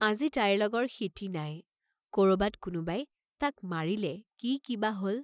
আজি তাইৰ লগৰ সিটি নাই, কৰবাত কোনোবাই তাক মাৰিলে কি কিবা হল!